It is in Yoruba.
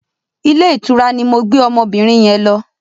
Ilé ìtura ni mo gbé ọmọbìnin yẹn lọ.